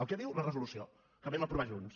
el que diu la resolució que vam aprovar junts